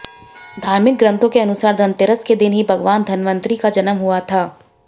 धार्मिक ग्रंथों के अनुसार धनतेरस के दिन ही भगवान धनवंतरी का जन्म हुआ था